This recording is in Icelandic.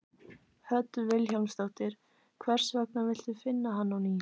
Hödd Vilhjálmsdóttir: Hvers gegna villtu finna hann á ný?